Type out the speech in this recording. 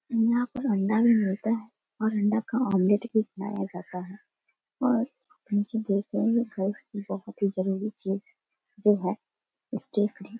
यहां पर अंडा भी मिलता है। और अंडा का आमलेट भी बनाया जाता है। और --